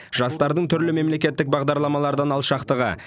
жастардың түрлі мемлекеттік бағдарламалардан алшақтығы